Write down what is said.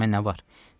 Yetimə nə var?